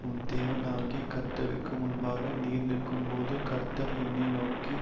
உன் தேவனாகிய கர்த்தருக்கு முன்பாக நீ நிற்கும்போது கர்த்தர் என்னை நோக்கி